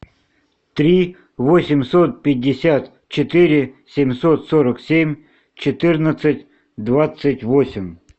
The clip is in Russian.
три восемьсот пятьдесят четыре семьсот сорок семь четырнадцать двадцать восемь